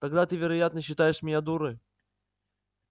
тогда ты вероятно считаешь меня дурой